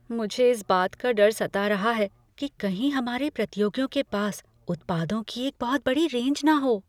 मुझे इस बात का डर सता रहा है कि कहीं हमारे प्रतियोगियों के पास उत्पादों की एक बहुत बड़ी रेंज न हो।